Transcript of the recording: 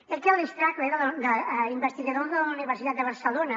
edgar straehle investigador de la universitat de barcelona